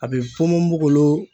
A be ponponpogolon